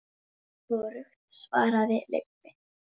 Hvorugt svaraði Leibbi.